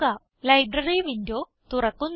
library window തുറക്കുന്നു